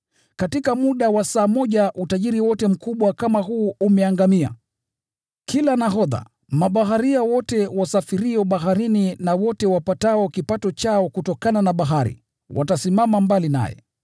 Katika muda wa saa moja utajiri wote mkubwa kama huu umeangamia!’ “Kila nahodha, na wote wasafirio kwa meli, na wote wapatao kipato chao kutokana na bahari, watasimama mbali.